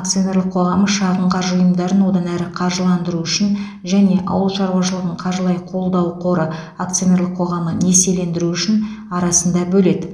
акционерлік қоғамы шағын қаржы ұйымдарын одан әрі қаржыландыру үшін және ауыл шаруашылығын қаржылай қолдау қоры акционерлік қоғамы несиелендіру үшін арасында бөледі